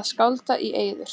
að skálda í eyður.